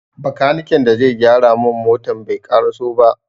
Bakaniken da zai gyara mun motan bai ƙaraso ba.